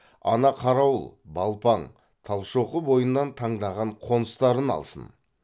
ана қарауыл балпаң талшоқы бойынан таңдаған қоныстарын алсын